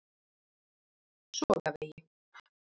Sogavegi